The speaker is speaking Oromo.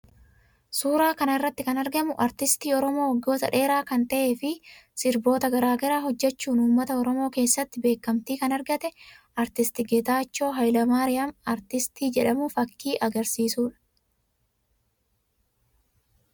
Suuraa kana irratti kan argamu aartistii Oromoo waggoota dheeraa kan ta'ee fi sirboota garaa garaa hojjechuun uummata Oromoo keessatti beekamtii kan argate aartist Geetaachoo Haayile Maariyaam aartistii jedhamu fakkii agarsiisuu dha.